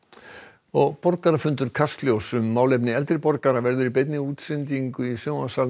og borgarafundur Kastljóss um málefni eldri borgara verður í beinni útsendingu í sjónvarpssal